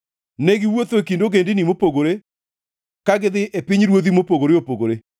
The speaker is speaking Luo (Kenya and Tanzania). ne giwuotho e kind ogendini mopogore, ka gidhi e pinyruodhi mopogore opogore.